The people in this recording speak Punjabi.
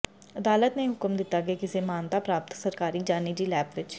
ਅਦਾਲਤ ਨੇ ਹੁਕਮ ਦਿੱਤਾ ਕਿ ਕਿਸੇ ਮਾਨਤਾ ਪ੍ਰਾਪਤ ਸਰਕਾਰੀ ਜਾਂ ਨਿੱਜੀ ਲੈਬ ਵਿੱਚ